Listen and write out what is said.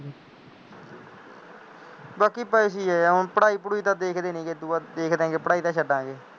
ਬਾਕੀ ਪਤਾ ਕੀ ਹੈ, ਹੁਣ ਪੜ੍ਹਾਈ ਪੜੂਈ ਤਾਂ ਦੇਖਦੇ ਨਹੀਂ ਹੈਗੇ, ਇਹ ਤੋਂ ਬਾਅਦ, ਦੇਖਦੇ ਹਾਂ ਪੜ੍ਹਾਈ ਤਾਂ ਛੱਡਾਂਗੇ